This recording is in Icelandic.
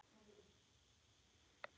En hvað með ríkið?